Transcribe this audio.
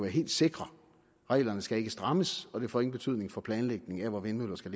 helt sikre reglerne skal ikke strammes og det får ingen betydning for planlægningen af hvor vindmøller skal